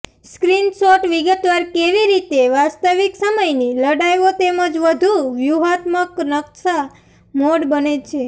screenshot વિગતવાર કેવી રીતે વાસ્તવિક સમયની લડાઇઓ તેમજ વધુ વ્યૂહાત્મક નકશા મોડ બંને છે